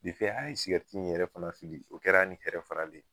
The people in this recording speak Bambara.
Defe an ye sigɛriti in yɛrɛ fana fili o kɛr'a ni hɛrɛ faralen.